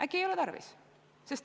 Äkki ei ole seda tarvis.